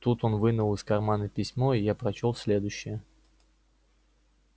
тут он вынул из кармана письмо и я прочёл следующее